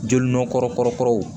Joli nɔ kɔrɔ kɔrɔ kɔrɔw